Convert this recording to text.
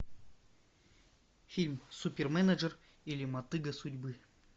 фильм суперменеджер или мотыга судьбы